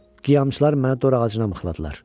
Qiyamçılar məni dorağacına mıxladılar.